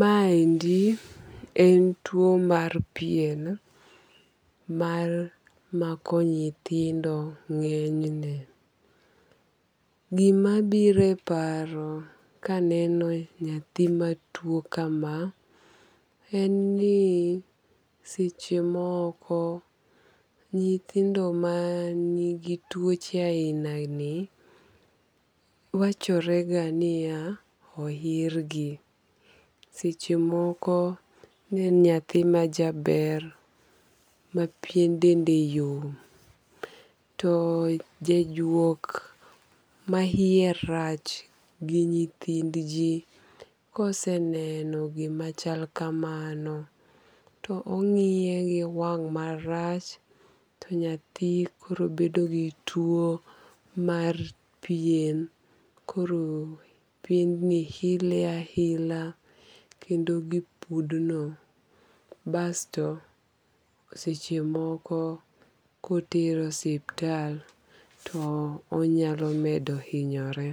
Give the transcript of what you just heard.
Ma endi en tuo mar pien mar mako nyithindo ng'enyne. Gimabiro e paro kaneno nyathima tuo kama en ni sechemoko nyithindo manigi tuoche ainani wachorega niya oirgi. Sechemoko nen nyathima jaber ma pien dende yom to jajuok ma iye rach gi nyithind jii koseneno gima chal kamano to ong'iye gi wang' marach to nyathi koro bedo gi tuo mar pien koro piendni ile aila kendo gipudno basto sechemoko kotere osiptal to onyalo medo inyore.